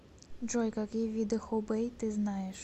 джой какие виды хубэй ты знаешь